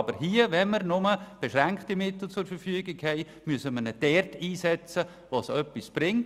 Wenn wir aber nur beschränkte Mittel zur Verfügung haben, müssen wir diese dort einsetzen, wo sie etwas bringen.